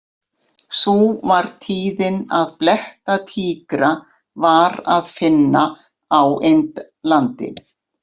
Sú var tíðin að blettatígra var að finna á Indlandi.